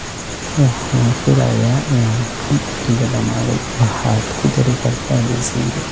Waxaan filayaa in aan kan iga dhammaaday, waxaad ku dari kartaa liiskayga